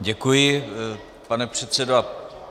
Děkuji, pane předsedo.